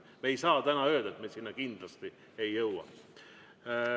Me ei saa täna öelda, et me sinna kindlasti ei jõua.